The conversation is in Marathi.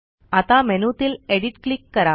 आता मेनूतील एडिट क्लिक करा